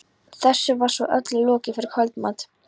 Þessu var svo öllu lokið fyrir kvöldmat.